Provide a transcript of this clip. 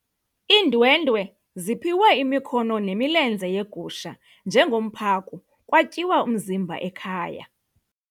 Iindwendwe ziphiwe imikhono nemilenze yegusha njengomphako kwatyiwa umzimba ekhaya.